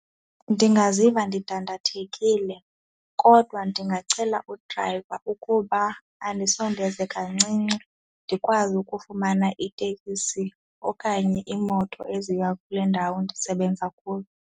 Ndingaziva ndidandathekile kodwa ndingacela udrayiva ukuba andisondeze kancinci ndikwazi ukufumana itekisi okanye iimoto eziya kule ndawo ndisebenza kuyo.